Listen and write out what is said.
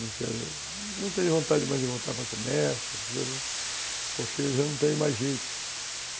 Não quero... Não tenho vontade demais de voltar para comércio, essas coisas, porque já não tenho mais jeito.